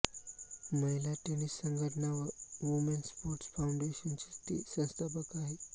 महिला टेनिस संघटना व वुमेन स्पोर्टस फाउंडेशनची ती संस्थापक आहे